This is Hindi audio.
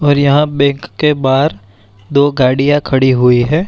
और यहाँ बैक के बार दो गाड़ियाँ खड़ी हुई हैं।